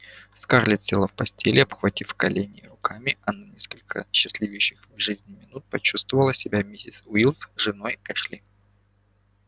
скарлетт села в постели обхватив колени руками и на несколько счастливейших в жизни минут почувствовала себя миссис уилкс женой эшли